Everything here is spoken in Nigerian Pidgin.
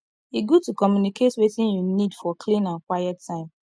e good to communicate wetin you need for clean and quiet time